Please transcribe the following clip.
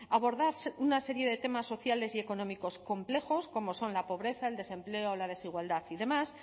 abordar una serie de temas sociales y económicos complejos como son la pobreza el desempleo la desigualdad y demás